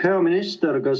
Hea minister!